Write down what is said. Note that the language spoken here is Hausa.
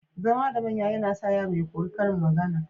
Zama da manya yAna sa yaro ya koyi karin magAna